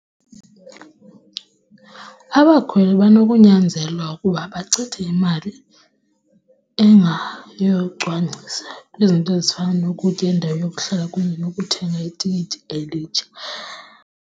Abakhweli banokunyanzelwa ukuba bachithe imali engayeyo yocwangcisa kwizinto ezifana nokutya, indawo yokuhlala kunye nokuthenga itikiti elitsha.